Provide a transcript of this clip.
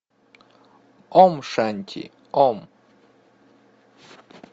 ом шанти ом